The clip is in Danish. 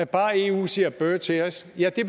bare eu siger bøh til os ja det